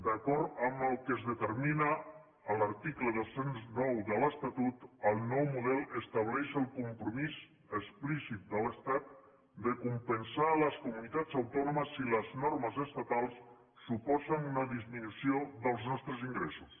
d’acord amb el que es determina a l’article dos cents i nou de l’estatut el nou model estableix el compromís explícit de l’estat de compensar les comunitats autònomes si les normes estatals suposen una disminució dels nostres ingressos